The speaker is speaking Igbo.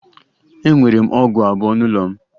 Enwere m ọgụ abụọ n'ụlọ m